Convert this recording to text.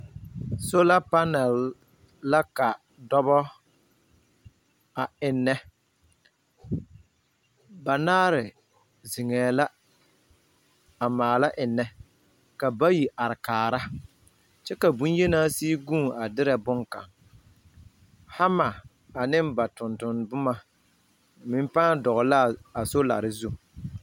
Soola panɛl la ka dɔbɔ a ennɛ. Banaare zeŋɛɛ la a maala ennɛ, ka bayi kaara, ka bonyenaa sigi guun a derɛ boŋkaŋ. Hama ane ba tonton boma meŋ pãã dɔgele la a soolare zu.